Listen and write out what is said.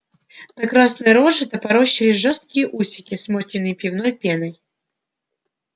на красной роже топорщились жёсткие усики смоченные пивной пеной